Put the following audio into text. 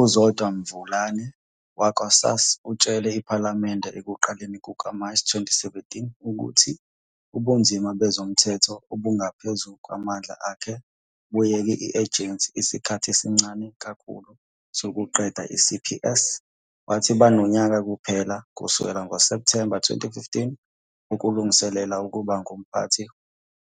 UZodwa Mvulane wakwa-SASSA utshele iPhalamende ekuqaleni kukaMashi 2017 ukuthi ubunzima bezomthetho obungaphezu kwamandla akhe buyeke i-Agency isikhathi esincane kakhulu sokuqeda i-CPS, wathi "banonyaka kuphela, kusukela ngoSepthemba 2015, wokulungiselela ukuba ngumphathi